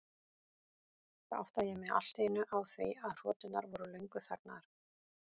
Þá áttaði ég mig allt í einu á því að hroturnar voru löngu þagnaðar.